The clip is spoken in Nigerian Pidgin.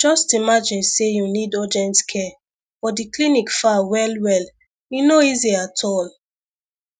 just imagine say you need urgent care but the clinic far well well e no easy at all